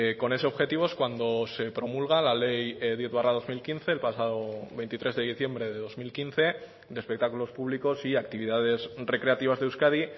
con ese objetivo es cuando se promulga la ley diez barra dos mil quince el pasado veintitrés de diciembre de dos mil quince de espectáculos públicos y actividades recreativas de euskadi